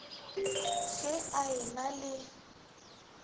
ge a e na le